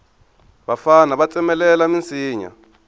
vafana va tsemelela minsinya